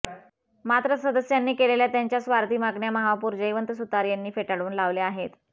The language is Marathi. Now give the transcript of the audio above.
मात्र सदस्यांनी केलेल्या त्यांच्या स्वार्थी मागण्या महापौर जयवंत सुतार यांनी फेटाळून लावल्या आहेत